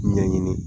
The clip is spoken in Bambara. Ɲɛɲini